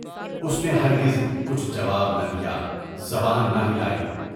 اُس نے ہرگز کچھ جواب نہ دیا، زبان نہ ہلائی۔